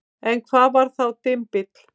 En hvað var þá dymbill?